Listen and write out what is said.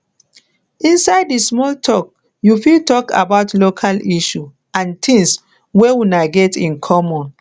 inside di small talk you fit talk about local issues and things wey una get in common